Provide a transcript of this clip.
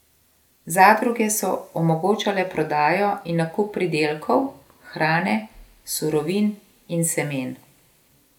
Zadruge so omogočale prodajo in nakup pridelkov, hrane, surovin in semen.